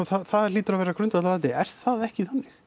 það hlýtur að vera grundvallaratriði er það ekki þannig